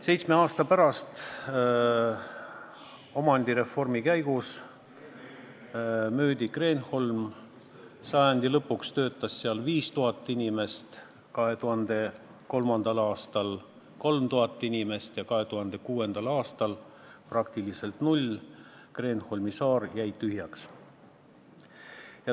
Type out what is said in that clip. Seitsme aasta pärast, omandireformi käigus, müüdi Kreenholm maha, sajandi lõpus töötas seal 5000 inimest, 2003. aastal 3000 inimest ja 2006. aastal praktiliselt null, Kreenholmi saar jäi tühjaks.